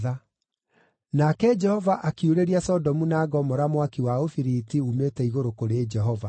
Nake Jehova akiurĩria Sodomu na Gomora mwaki wa ũbiriti uumĩte igũrũ kũrĩ Jehova.